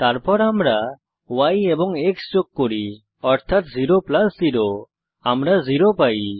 তারপর আমরা y এবং x যোগ করি অর্থাত 0 প্লাস 0 আমরা 0 পাই